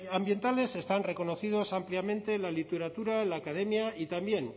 ambientales están reconocidos ampliamente en la literatura la academia y también